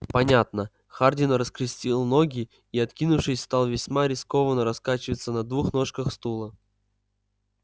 понятно хардин раскрестил ноги и откинувшись стал весьма рискованно раскачиваться на двух ножках стула